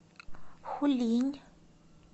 хулинь